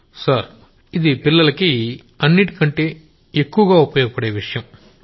Gaurav sir ఇది పిల్లలకి అన్నింటికంటే ఎక్కువ ఉపయోగపడే విషయం